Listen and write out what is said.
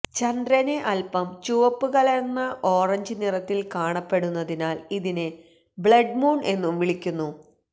ചന്ദ്രന് അല്പം ചുവപ്പ് കലര്ന്ന ഓറഞ്ച് നിറത്തില് കാണപ്പെടുന്നതിനാല് ഇതിനെ ബ്ലഡ് മൂണ് എന്നും വിളിക്കുന്നു